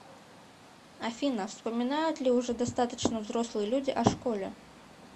афина вспоминают ли уже достаточно взрослые люди о школе